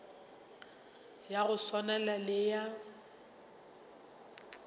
ya go swana le ya